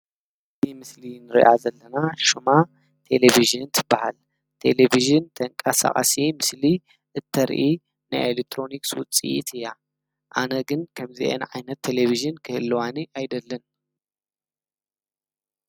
ኣብዚ ምስሊ ንሪኣ ዘለና ሹማ ቴሌብዥን ትብሃል። ቴሌብዥን ተንቀሳቃሲ ምስሊ እተርኢ ናይ ኤሌክትሮኒክስ ውፅኢት እያ። ኣነ ግን ከምዚአን ዓይነት ቴሌብዥን ክህልዋኒ ኣይደልን።